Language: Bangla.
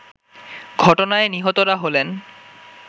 ঘটনায় নিহতরা হলেন